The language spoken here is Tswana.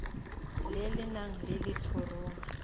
le le nang le letshoroma